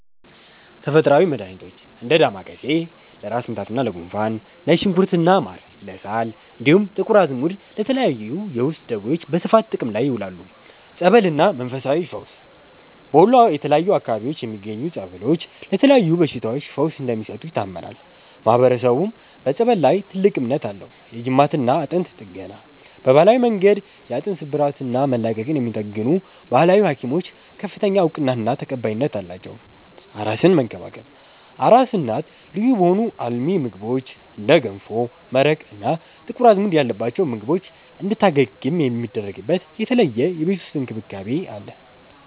ተፈጥሮአዊ መድሃኒቶች፦ እንደ ዳማከሴ (ለራስ ምታትና ለጉንፋን)፣ ነጭ ሽንኩርትና ማር (ለሳል)፣ እንዲሁም ጥቁር አዝሙድ ለተለያዩ የውስጥ ደዌዎች በስፋት ጥቅም ላይ ይውላሉ። ጸበልና መንፈሳዊ ፈውስ፦ በወሎ የተለያዩ አካባቢዎች የሚገኙ ጸበሎች ለተለያዩ በሽታዎች ፈውስ እንደሚሰጡ ይታመናል፤ ማህበረሰቡም በጸበል ላይ ትልቅ እምነት አለው። የጅማትና አጥንት ጥገና፦ በባህላዊ መንገድ የአጥንት ስብራትና መላቀቅን የሚጠግኑ "ባህላዊ ሀኪሞች" ከፍተኛ እውቅናና ተቀባይነት አላቸው። አራስን መንከባከብ፦ አራስ እናት ልዩ በሆኑ አልሚ ምግቦች (እንደ ገንፎ፣ መረቅ እና ጥቁር አዝሙድ ያለባቸው ምግቦች) እንድታገግም የሚደረግበት የተለየ የቤት ውስጥ እንክብካቤ አለ።